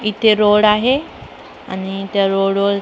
इथे रोड आहे आणि त्या रोडवर --